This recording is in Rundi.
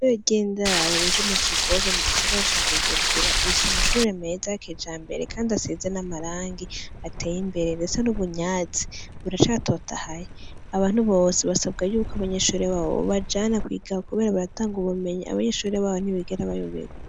Eweryendaro riri mu kigobe mu gisigara ca bujubura rifise amashure meza y'keja mbere, kandi aseze n'amarangi ateye imbere mbese n'ubunyatsi buracatotahaye, abantu bose basabwa yuko abanyeshore babo babajana kwigawa, kubera baratanga ubumenyi abanyeshore babo ntibigera bayoberwa.